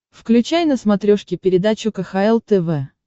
включай на смотрешке передачу кхл тв